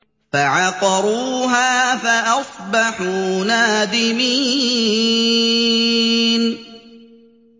فَعَقَرُوهَا فَأَصْبَحُوا نَادِمِينَ